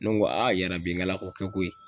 Ne ko a yarabi n ŋala ko kɛ koyi.